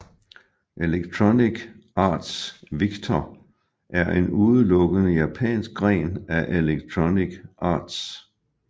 Electronic Arts Victor er en udelukkende japansk gren af Electronic Arts